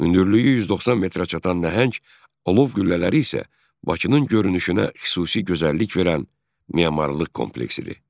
Hündürlüyü 190 metrə çatan nəhəng Alov qüllələri isə Bakının görünüşünə xüsusi gözəllik verən memarlıq kompleksidir.